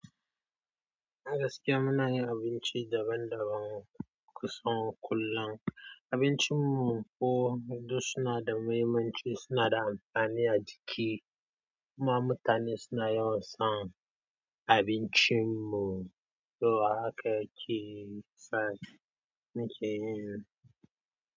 A gaskiya muna yin abinci daban-daban kusan kullum. Abincin mu ko duk suna da mahimmanci, suna da amfani a jiki. Kuma mutane suna yawan son abincin mu, to haka ke, sa muke yin.